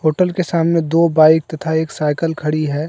Hotel के सामने दो बाइक तथा एक साइकल खड़ी है।